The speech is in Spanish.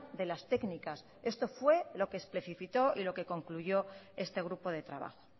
de las técnicas esto fue lo que especificó y lo que concluyó este grupo de trabajo